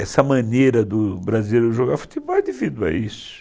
Essa maneira do brasileiro jogar futebol é devido a isso.